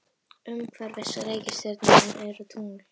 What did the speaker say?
Umhverfis reikistjörnurnar eru tungl.